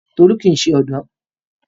Tolu kii ṣe ọdọ